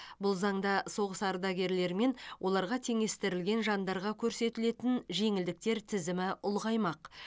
бұл заңда соғыс ардагерлері мен оларға теңестірілген жандарға көрсетілетін жеңілдіктер тізімі ұлғаймақ